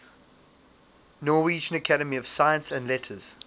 norwegian academy of science and letters